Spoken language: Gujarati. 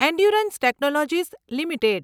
endurance technologies limited